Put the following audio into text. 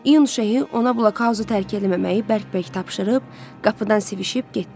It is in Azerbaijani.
İyun Şeyx ona blokhauzu tərk eləməməyi bərk-bərk tapşırıb, qapıdan sivişib getdi.